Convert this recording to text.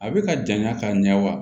A bɛ ka janya ka ɲɛ wa